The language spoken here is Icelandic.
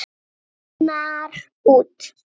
Bólgnar út.